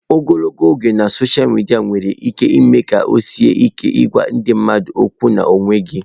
Ogologo oge na sọsha midia nwere ike ime ka ọ sie ike ịgwa ndị mmadụ okwu n'onwe gị.